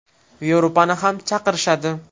Yevropani ham chaqirishadi.